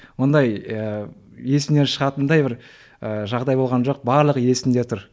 ондай ыыы есімнен шығатындай бір ыыы жағдай болған жоқ барлығы есімде тұр